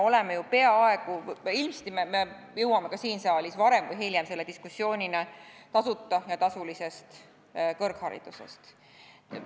Ilmselt me jõuame ka siin saalis varem või hiljem tasuta ja tasulise kõrghariduse diskussioonini.